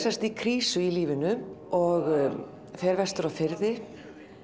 í krísu í lífinu og fer vestur á firði